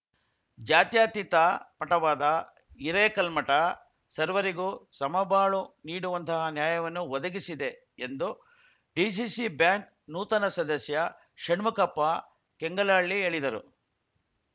ಜ್ಯಾತ್ಯತೀತ ಮಠವಾದ ಹಿರೇಕಲ್ಮಠ ಸರ್ವರಿಗೂ ಸಮಬಾಳು ನೀಡುವಂತಹ ನ್ಯಾಯವನ್ನು ಒದಗಿಸಿದೆ ಎಂದು ಡಿಸಿಸಿ ಬ್ಯಾಂಕ್‌ ನೂತನ ಸದಸ್ಯ ಷಣ್ಮುಖಪ್ಪ ಕೆಂಗಲಹಳ್ಳಿ ಹೇಳಿದರು